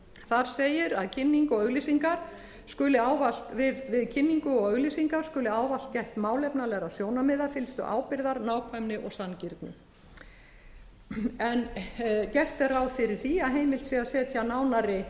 þar segir að við kynningu og auglýsingar skuli ávallt gætt málefnalegra sjónarmiða fyllstu ábyrgðar nákvæmni og sanngirni gert er ráð fyrir því að heimilt sé að setja nánari